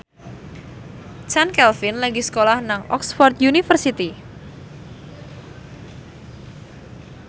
Chand Kelvin lagi sekolah nang Oxford university